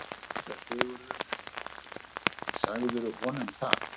SÉRA SIGURÐUR: Sagðirðu honum það?